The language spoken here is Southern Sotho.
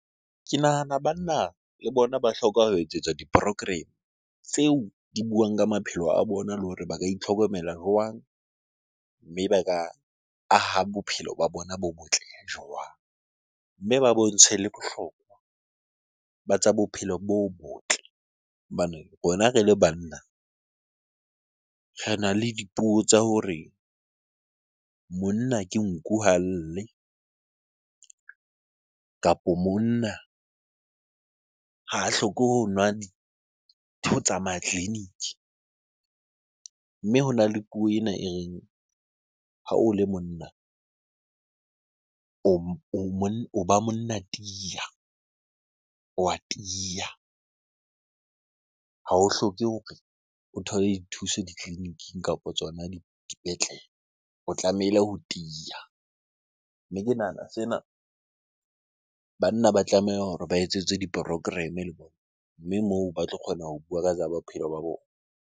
Ke nahana banna le bona ba hloka ho etsetswa di-program tseo di buang ka maphelo a bona le hore ba ka itlhokomela jwang? Mme ba ka aha bophelo ba bona bo botle jwang? Mme ba bontshwe le bohlokwa ba tsa bophelo bo botle hobane rona re le banna rena le dipuo tsa hore monna ke nku, ha lle kapo monna ha a hloke ho nwa ho tsamaya tleliniki. Mme hona le puo ena e reng, ha o le monna o ba monna tiya, o wa tiya. Ha o hloke hore o thole dithuso ditleleniking kapo tsona dipetlele, o tlamehile ho tiya. Mme ke nahana sena, banna ba tlameha hore ba etsetswe di-program le bona, mme moo ba tlo kgona ho bua ka tsa bophelo ba bona.